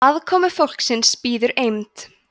aðkomufólksins bíður eymd